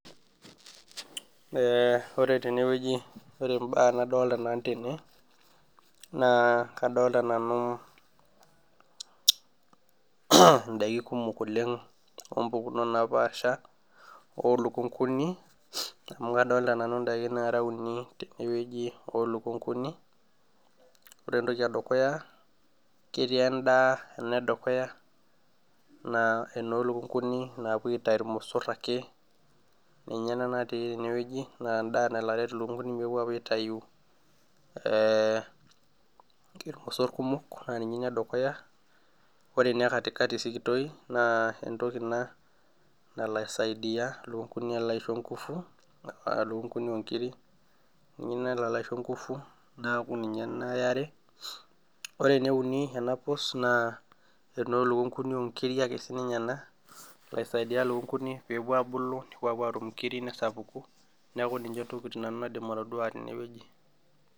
Ore tenewueji, ore mbaa nadolta nanu tene, naa kadolta nanu idaiki kumok oleng ompukunot napaasha olukunkuni, amu kadolta nanu daiki nara uni tenewueji olukunkuni. Ore entoki edukuya ketii endaa enedukuya, naa enolukunkuni napo aitayu irmosor ake, ninye ena natii enewueji na endaa nalo aret ilukunkuni pepuo apuo aitayu irmosor kumok, na ninye ina edukuya. Ore ina ekatikati sikitoi naa entoki ina nalo aisaidia lukunkuni alo aisho nkufu, lukunkuni onkiri, ninye nalo alo aisho nkufu, neeku ninye ena eare. Ore eneuni ena pus naa enoo lukunkuni okiri ake sinye ena, nalo aisaidia lukunkuni pepuo abulu, nepuo apuo atum inkiri nesapuku, neeku ninche ntokiting nanu naidim atodua tenewueji.